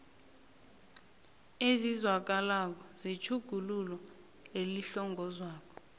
ezizwakalako zetjhuguluko elihlongozwako